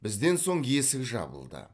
бізден соң есік жабылды